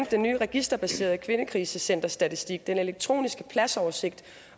den nye registerbaserede kvindekrisecenterstatistik den elektroniske pladsoversigt